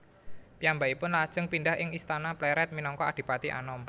Piyambakipun lajeng pindhah ing istana Plered minangka Adipati Anom